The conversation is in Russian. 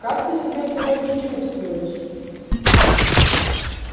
как ты себя сегодня чувствуешь